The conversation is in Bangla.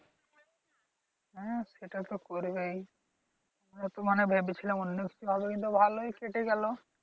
হ্যাঁ। সেটা তো করবেই আহ তো মনে করেছিলা অন্যকিছু হবে কিন্তু ভালোই কেটে গেল।